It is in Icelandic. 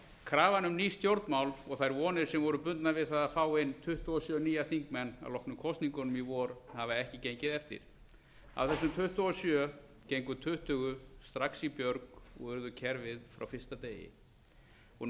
krafan um ný stjórnmál og þær vonir sem bundnar voru við að fá inn tuttugu og sjö nýja þingmenn að loknum kosningunum í vor hafa ekki gengið eftir af þessum tuttugu og sjö gengu tuttugu strax í björg og urðu kerfið frá fyrsta degi og